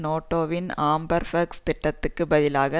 நேட்டோவின் ஆம்பர்பொக்ஸ் திட்டத்துக்கு பதிலாக